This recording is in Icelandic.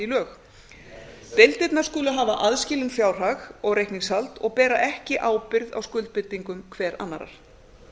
lög deildirnar skulu hafa aðskilinn fjárhag og reikningshald og bera ekki ábyrgð á skuldbindingum hver annarrar